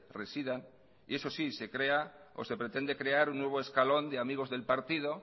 residan eso sí se crea o se pretende crear un nuevo escalón de amigos del partido